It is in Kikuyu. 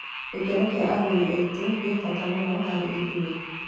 Gĩkeno kĩa agũri aitũ kĩ bata mũno harĩ ithuĩ